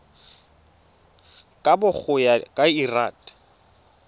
kabo go ya ka lrad